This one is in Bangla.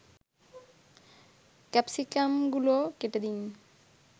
ক্যাপসিকামগুলো কেটে দিন